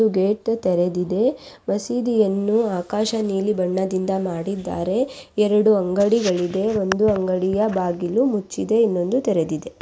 ದು ಗೇಟು ತೆರೆದಿದೆ ಮಸೀದಿಯನ್ನು ಆಕಾಶ ನೀಲಿ ಬಣ್ಣದಿಂದ ಮಾಡಿದ್ದಾರೆ ಎರಡು ಅಂಗಡಿಗಲಿದೆ ಒಂದು ಅಂಗಡಿಯ ಬಾಗಿಲು ಮುಚ್ಚಿದೆ ಇನೊಂದು ತೆರೆದಿದೆ.